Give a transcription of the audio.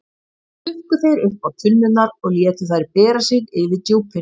Síðan stukku þeir uppá tunnurnar og létu þær bera sig yfir djúpin.